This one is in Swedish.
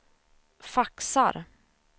faxar